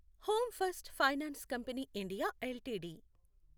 home first finance company India LTD